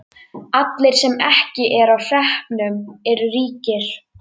Allir sem ekki eru á hreppnum eru ríkir.